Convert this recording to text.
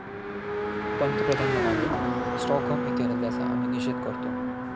पंतप्रधान म्हणाले, स्टॉकहोम येथील हल्ल्याचा आम्ही निषेध करतो.